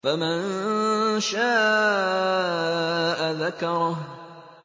فَمَن شَاءَ ذَكَرَهُ